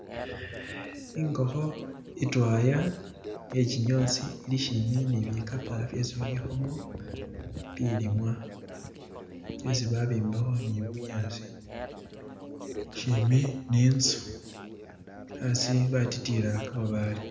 ingokho itwaya iyakinyozi ilishimbi ni bikapa byesi babikhamo bilimwa byesi babimbakho ni bunyasi shimi ni inzu aasi batitiyila kamabale.